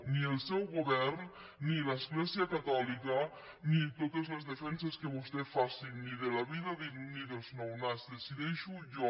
ni el seu govern ni l’església catòlica ni totes les defenses que vostè faci ni de la vida ni dels nounats decideixo jo